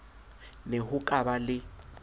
ne ho ka ba le